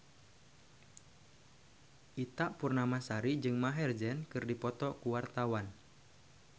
Ita Purnamasari jeung Maher Zein keur dipoto ku wartawan